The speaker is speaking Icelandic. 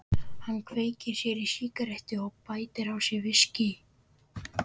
Hann kveikir sér í sígarettu og bætir á sig viskíi.